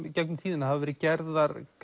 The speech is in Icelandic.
í gegnum tíðina hafa verið gerðar